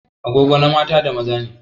Agogo na mata da maza ne.